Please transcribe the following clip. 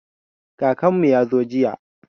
Kakanmu ya zo jiya.